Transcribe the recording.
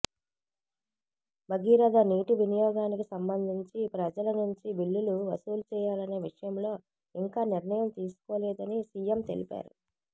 భగీరథ నీటి వినియోగానికి సంబంధించి ప్రజల నుంచి బిల్లులు వసూలు చేయాలనే విషయంలో ఇంకా నిర్ణయం తీసుకోలేదని సీఎం తెలిపారు